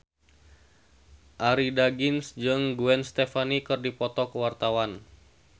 Arie Daginks jeung Gwen Stefani keur dipoto ku wartawan